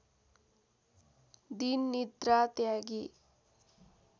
दिन निद्रा त्यागी